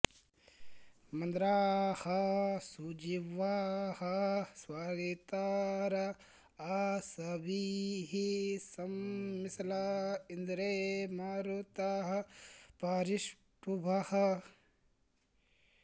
म॒न्द्राः सु॑जि॒ह्वाः स्वरि॑तार आ॒सभिः॒ सम्मि॑श्ला॒ इन्द्रे॑ म॒रुतः॑ परि॒ष्टुभः॑